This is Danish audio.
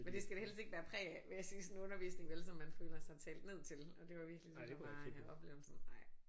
Men det skal det helst ikke bære præg af vil jeg sige sådan en undervisning vel så man føler sig talt ned til og det var virkelig det der var oplevelsen ej